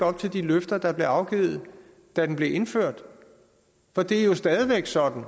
op til de løfter der blev afgivet da den blev indført for det er jo stadig væk sådan